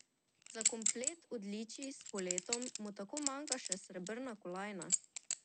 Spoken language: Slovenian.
Za komplet odličij s poletov mu tako manjka še srebrna kolajna.